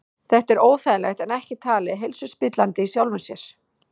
Þetta er óþægilegt en ekki talið heilsuspillandi í sjálfu sér.